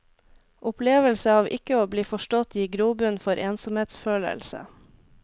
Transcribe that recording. Opplevelse av ikke å bli forstått gir grobunn for ensomhetsfølelse.